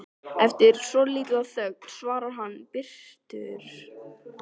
Eftir svolitla þögn svarar hann biturt